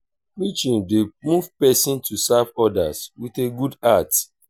preaching dey move pesin to serve odas wit a good heart.